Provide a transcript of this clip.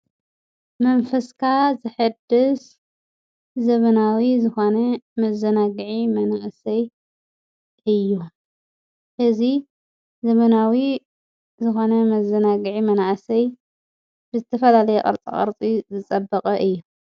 መንፈስካ ዘሕድስ ዘበናዊ ዝኾነ መዘናግዒ መናእሰይ እዩ፡፡ እዚ ዘመናዊ ዝኾነ መዘናግዒ መናእሰይ ብዝተፈላለየ ቅርፃቅርፂ ዝፀበቐ እዩ፡፡